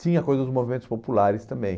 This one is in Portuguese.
Tinha a coisa dos movimentos populares também.